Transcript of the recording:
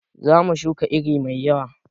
Zamu shuka iri mai yawa